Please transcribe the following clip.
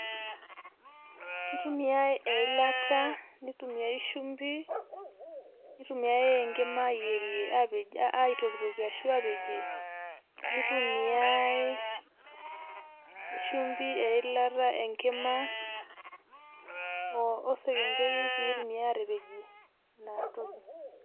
Keitumiai eilata, neitumiai shumpi, neitumiai enkima ayerie, apejie, aitokitokie ashu apejie, neitumiai shumpi, eilata, enkima o sekenkei peitumiai apejie ina toki.